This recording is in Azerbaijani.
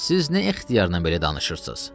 Siz nə ixtiyarla belə danışırsız?